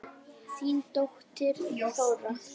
Þín dóttir, Þóra.